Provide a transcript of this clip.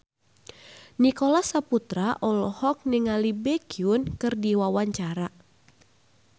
Nicholas Saputra olohok ningali Baekhyun keur diwawancara